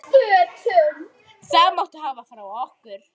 Það máttu hafa frá okkur.